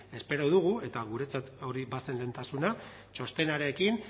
espero dugu eta guretzat hori bazen lehentasuna txostenarekin